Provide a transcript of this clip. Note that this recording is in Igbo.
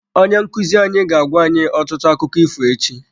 Onye nkuzi anyị ga-agwa anyị ọtụtụ akụkọ ifo echi.